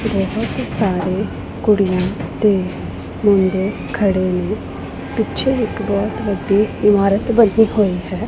ਬਹੁਤ ਸਾਰੇ ਕੁੜੀਆਂ ਤੇ ਮੁੰਡੇ ਖੜੇ ਨੇਂ ਪਿੱਛੇ ਇੱਕ ਬਹੁਤ ਵੱਡੀ ਇਮਾਰਤ ਬਨੀ ਹੋਈ ਹੈ।